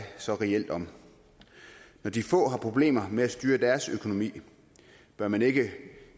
så reelt om når de få har problemer med at styre deres økonomi bør man ikke